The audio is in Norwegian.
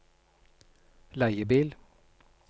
leiebil